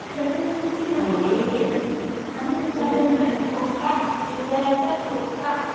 बई! हृदयाचा ठोका. हृदयाचा ठोका.